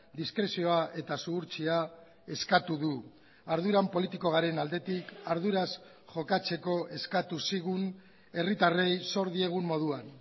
diskrezioa eta zuhurtzia eskatu du arduran politiko garen aldetik arduraz jokatzeko eskatu zigun herritarrei zor diegun moduan